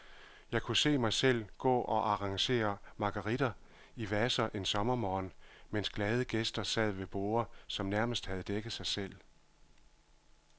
Jeg kunne se mig selv gå og arrangere marguritter i vaser en sommermorgen, mens glade gæster sad ved borde, som nærmest havde dækket sig selv.